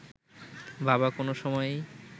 বাবা কোনো সময়েই